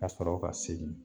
Ka sɔrɔ ka segin